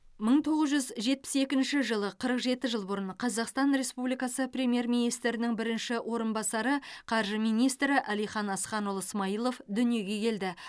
мың тоғыз жүз жетпіс екінші жылы қырық жеті жыл бұрын қазақстан республикасы премьер министрінің бірінші орынбасары қаржы министрі әлихан асханұлы смайылов дүниеге келді